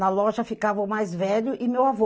Na loja ficava o mais velho e meu avô.